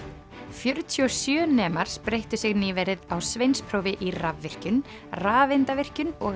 fjörutíu og sjö nemar spreyttu sig nýverið á sveinsprófi í rafvirkjun rafeindavirkjun og